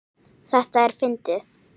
Þetta er fyndið.